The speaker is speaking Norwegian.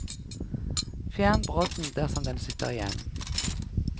Fjern brodden, dersom den sitter igjen.